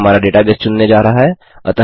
यह हमारा डेटाबेस चुनने जा रहा है